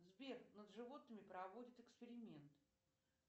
сбер над животными проводят эксперимент